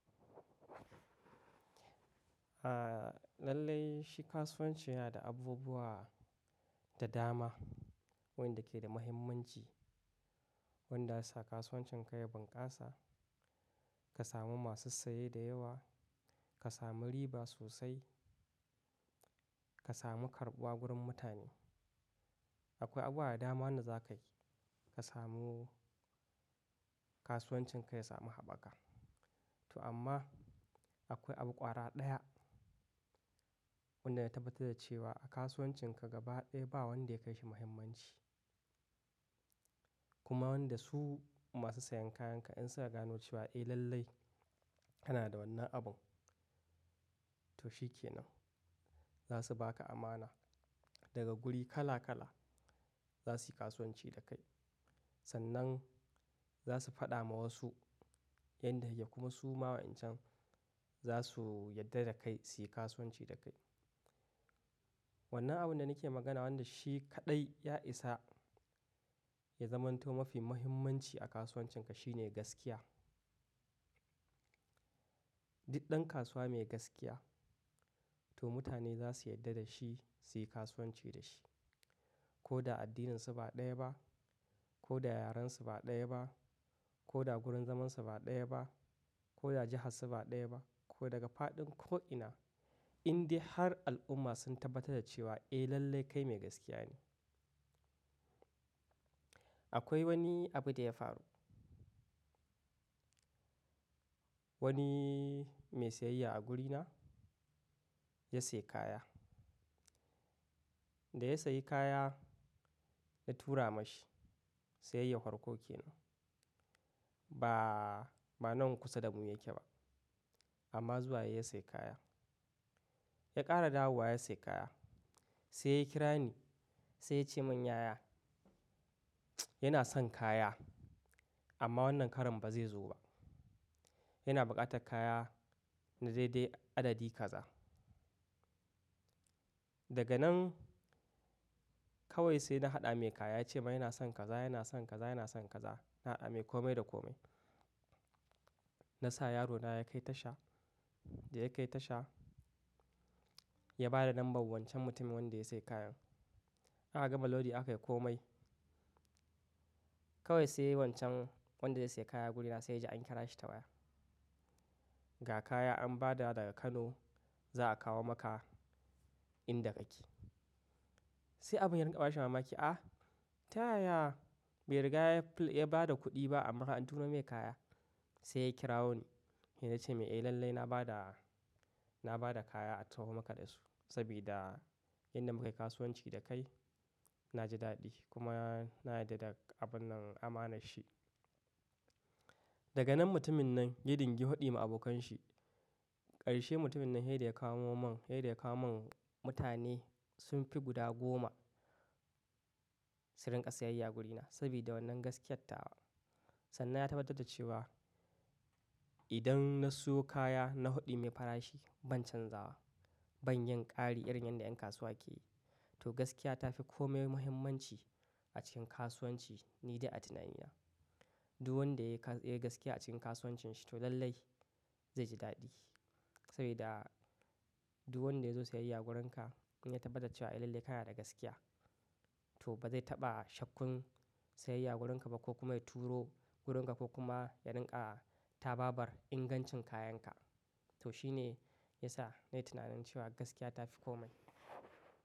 A lallai shi kasuwanci yana da abubuwa da dama, wanda ke da mahimmanci, wanda zasu sa kasuwancin ka ya bunƙasa, ka samu masu saye da yawa, ka samu riba sosai, ka samu karɓuwa gurin mutane. Akwai abuwa da dama wanda za ka ki ka samu kasuwancin ka ya samu haɓaka. To amma akwai abu ƙwara ɗaya wanda ya tabbatar da cewa a kasuwancin ka gaba ɗaya ba wanda ya kai shi muhimmanci. Kuma wanda su masu sayen kayan ka in suka gano cewa eh lallai kana da wannan abun, to shi ke nan. Za su ba ka amana daga guri kala kala za su yi kasuwanci da kai. Sannan za su faɗa ma wasu yadda yake kuma su ma wa'ancan za su yarda da kai su yi kasuwanci da kai. Wannan abun da nake magana wanda shi kaɗai ya isa ya zamanto mafi muhimmanci a kasuwancin ka shine gaskiya. Duk ɗan kasuwa mai gaskiya to mutane za su yarda da shi su yi kasuwanci da shi. Ko da addininsu ba ɗaya ba, ko da yarensu ba ɗaya ba, ko da gurin zamansu ba ɗaya ba, ko da jihansu ba ɗaya ba, ko daga faɗin ko ina, in dai har al'umma sun tabbatar da cewa eh lallai kai mai gaskiya ne. Akwai wani abu da ya faru. Wani mai sayayya a gurina ya sayi kaya. Da ya sayi kaya na tura ma shi, sayayyan farko ke nan. Ba, ba nan kusa da mu yake ba amma zuwa yayi ya sayi kaya. Ya ƙara dawowa ya sayi kaya. Sai ya kira ni sai ya ce mun "yaya, yana son kaya amma wannan karon ba zai zo ba. Yana buƙatar kaya na dai dai adadi kaza." Daga nan kawai sai na haɗa mai kaya ya ce min yana son kaza, yana son kaza, yana son kaza. Na hada mai kome da kome. Na sa yarona ya kai tasha, da ya kai tasha ya ba da lambar wancan mutumin wanda ya sayi kayan. Aka gama lodi aka yi komai. Kawai sai wancan wanda zai sayi kaya wurina sai ji an kira shi ta waya. Ga kaya an ba da daga Kano za a kawo maka inda kake. Sai abin ya rinƙa bashi mamaki. A, ta yaya? Bai riga ya bada kuɗi ba amma an tura mai kaya. Sai ya kirawoni sai na ce mai "eh lallai na ba da, na ba da kaya a taho maka dasu sabida inda muka yi kasuwanci da kai na ji daɗi kuma na yarda da abun nan amanar shi." Daga nan mutumin nan ya dingi faɗi ma abokan shi. Ƙarshe mutumin nan ysai da ya kamo min, sai da ya kawo mun mutane sun fi guda goma su rinƙa sayayya a gurina sabida wannan gaskiyarta. Sannan ya tabbatar da cewa idan na siyo kaya na faɗi mai farashi ban canzawa, ban yin ƙari irin yanda ƴan kasuwa ke yi. To gaskiya ta fi komai muhimmanci a cikin kasuwanci ni dai a tunani. Duk wanda ya yi ka ya yi gaskiya a cikin kasuwancin shi to lallai zai ji daɗi saboda duk wanda ya zo sayayya wurinka in ya tabbatar cewa eh lallai kana da gaskiya to ba zai taɓa shakkun sayayya wurinka ba ko kuma ya turo wurinka ko kuma ya rinƙa tababar ingancin kayanka. To shi ne ya sa na yi tunanin cewa gaskiya ta fi komai.